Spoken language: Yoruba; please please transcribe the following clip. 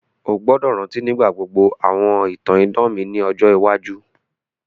O gbọ́dọ̀ rántí nígbà gbogbo àwọn ìtàn idán mi ni ọjọ iwájú.